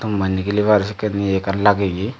nigilibar sekken ye ekkan lageye.